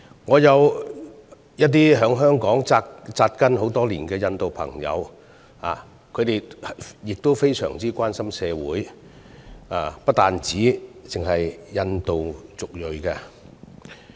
我有一些在香港扎根多年的印度朋友，他們非常關心社會，不單只是關心印度族裔人士的議題。